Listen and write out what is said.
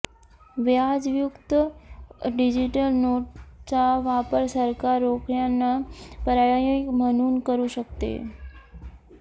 व्याजयुक्त digital नोटचा वापर सरकार रोख्यांना पर्याय म्हणून करू शकते